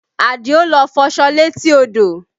Adio lọ fọṣọ létí odò